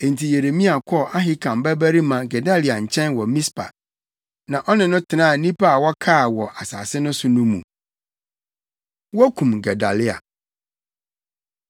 Enti Yeremia kɔɔ Ahikam babarima Gedalia nkyɛn wɔ Mispa, na ɔne no tenaa nnipa a wɔkaa wɔ asase no so no mu. Wokum Gedalia